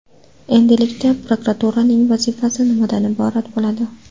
Endilikda prokuraturaning vazifasi nimadan iborat bo‘ladi?